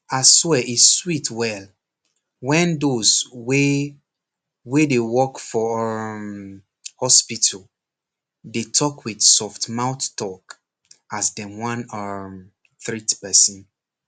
aswear e sweet well when those wey wey dey work for um hospital dey talk with soft mouth talk as dem wan um treat person